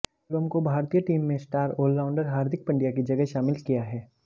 शिवम को भारतीय टीम में स्टार ऑलराउंडर हार्दिक पंड्या की जगह शामिल किया है